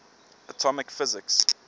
atomic physics